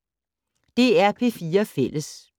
DR P4 Fælles